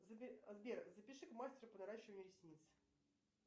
сбер запиши к мастеру по наращиванию ресниц